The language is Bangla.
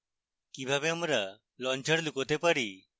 কিভাবে আমরা launcher লুকোতে পারি